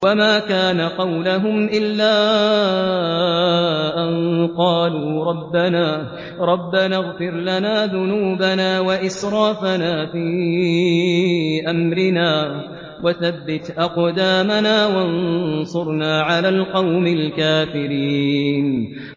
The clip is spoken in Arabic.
وَمَا كَانَ قَوْلَهُمْ إِلَّا أَن قَالُوا رَبَّنَا اغْفِرْ لَنَا ذُنُوبَنَا وَإِسْرَافَنَا فِي أَمْرِنَا وَثَبِّتْ أَقْدَامَنَا وَانصُرْنَا عَلَى الْقَوْمِ الْكَافِرِينَ